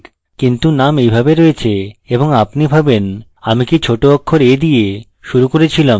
কিন্তু name এইভাবে রয়েছে এবং আপনি ভাবেনআমি কি ছোট অক্ষর a দিয়ে শুরু করে ছিলাম